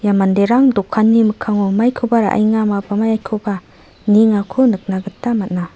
ia manderang dokanni mikkango maikoba ra·enga ma-maikoba niengako nikna gita man·a.